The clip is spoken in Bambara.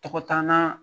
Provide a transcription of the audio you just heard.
Tɔgɔtanna